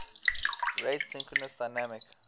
rate synchronous dynamic